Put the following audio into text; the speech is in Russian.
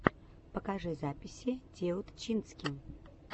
покажи записи теутчински